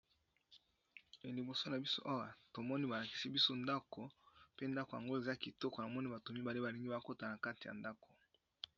Na liboso na biso awa to moni ba lakisi biso ndako. Pe ndako yango eza kitoko. Na moni bato mibale balingi bakota na kati ya ndako.